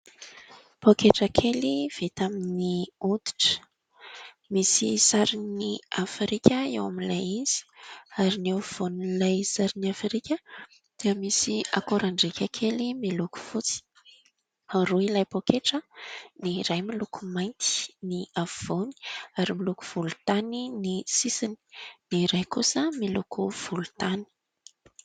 Poketra kely vita amin'ny oditra misy sarin'i Afrika eo amin'ilay izy ; ary ny eo afovoan'ilay sarin'ny Afrika dia misy akorandrika kely miloko fotsy. Roa ilay poketra ; ny iray miloko mainty ny afovoany ary miloko volontany ny sisiny ; ny iray kosa miloko volontany.